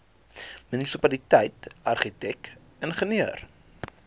munisipaliteit argitek ingenieur